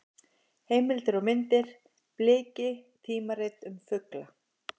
Heimildir og myndir: Bliki: tímarit um fugla.